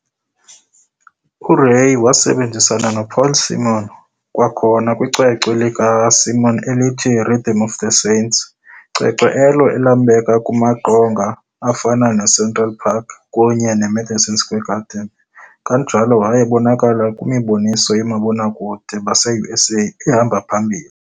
URay wasebenzisana noPaul Simon kwakhona kwicwecwe likaSimon elithi "Rhythm of the Saints", cwecwe elo elambeka kumaqonga afana ne"Central Park" kunye ne"Madison Square Garden" kanjalo wayebonakala kwimiboniso yoomabonakude baseUSA ehamba phambili.